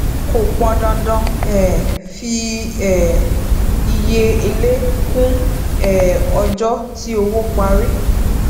kò pọn dandan um fi um iye èlé kún um ọjọ tí owó parí